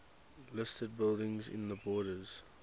listed buildings in the borders